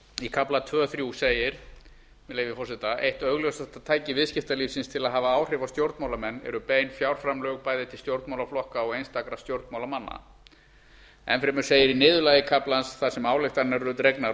í kafla tvö þrjú segir með leyfi forseta eitt augljósasta tæki viðskiptalífsins til að hafa áhrif á stjórnmálamenn eru bein fjárframlög bæði til stjórnmálaflokka og einstakra stjórnmálamanna enn fremur segir í niðurlagi kaflans þar sem ályktanir eru dregnar